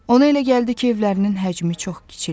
Ona elə gəldi ki, evlərinin həcmi çox kiçilib.